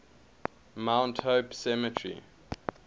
mount hope cemetery